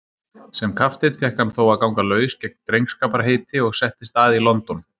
Sem kapteinn fékk hann þó að ganga laus gegn drengskaparheiti og settist að í London.